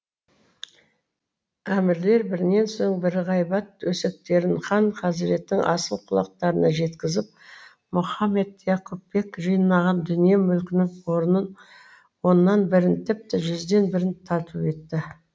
әмірлер бірінен соң бірі ғайбат өсектерін хан хазреттің асыл құлақтарына жеткізіп мұхаммед яқупбек жинаған дүние мүлкінің оннан бірін тіпті жүзден бірін тарту етті